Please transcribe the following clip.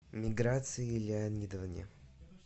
миграции леонидовне